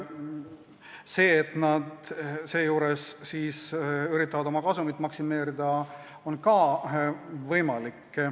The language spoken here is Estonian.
See, et nad üritavad seejuures oma kasumit maksimeerida, on samuti võimalik.